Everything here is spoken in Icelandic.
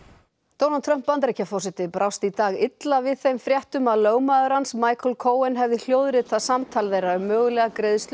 Donald Trump Bandaríkjaforseti brást í dag illa við þeim fréttum að lögmaður hans Michael Cohen hefði hljóðritað samtal þeirra um mögulega greiðslu